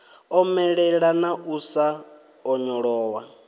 omelela na u sa onyolowa